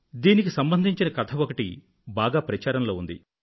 దీనికి సంబంధించిన కథ ఒకటి బాగా ప్రచారంలో ఉంది